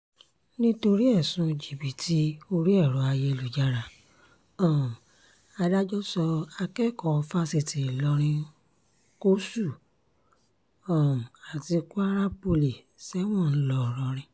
nítorí ẹ̀sùn jìbìtì orí ẹ̀rọ ayélujára um adájọ́ sọ akẹ́kọ̀ọ́ fásitì ìlorin kwuṣù um àti kwara poly sẹ́wọ̀n ńlọrọrìn